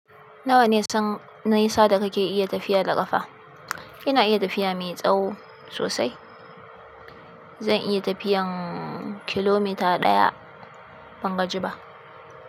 Nawa nisan nisa da kake iya tafiya da ƙafa? Ina iya tafiya mai tsawo sosai. Zan iya tafiyan kilomita ɗaya ban gaji ba.